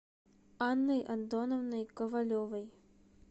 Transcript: анной антоновной ковалевой